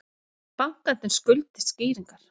Bankarnir skuldi skýringar